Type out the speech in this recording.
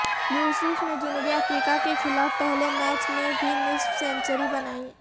یوسف نے جنوبی افریقہ کے خلاف پہلے میچ میں بھی نصف سنچری بنائی